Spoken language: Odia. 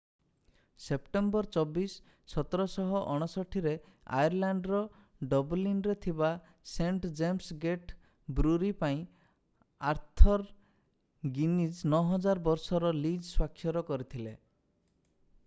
ସେପ୍ଟେମ୍ବର 24 1759 ରେ ଆୟର୍ଲାଣ୍ଡର ଡବଲିନ୍ ରେ ଥିବା ସେଣ୍ଟ ଜେମ୍ସ ଗେଟ୍ ବ୍ରୁରି ପାଇଁ ଆର୍ଥର୍ ଗିନିଜ୍ 9,000 ବର୍ଷର ଲିଜ୍ ସ୍ୱାକ୍ଷର କରିଥିଲେ